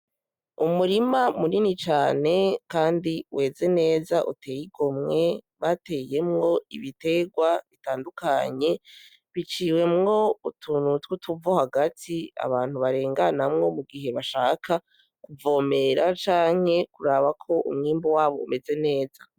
Umurima munini cane kandi umeze neza uteye igomwe bateyemwo ibiterwa bitandukanye biciwemwo utuntu tw'utuvo hagati abantu barenganamwo mu gihe bashaka kuvomera canke kuraba ko umwimbu wabo umeze neza.